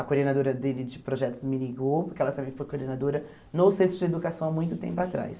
A coordenadora dele de projetos me ligou, porque ela também foi coordenadora no Centro de Educação há muito tempo atrás.